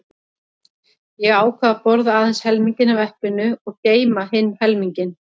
Ég ákvað að borða aðeins helminginn af eplinu og geyma hinn helminginn.